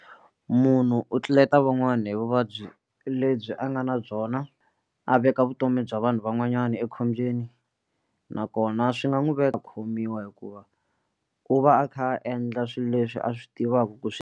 Munhu u tluleta van'wani hi vuvabyi lebyi a nga na byona a veka vutomi bya vanhu van'wanyana ekhombyeni nakona swi nga n'wi veka a khomiwa hikuva u va a kha a endla swilo leswi a swi tivaka ku swi.